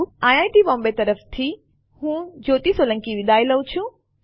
IIT Bombay તરફથી હું કૃપાલી પરમાર વિદાય લઉં છું